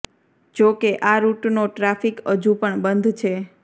જો કે આ રૂટનો ટ્રાફિક હજુ પણ બંધ છે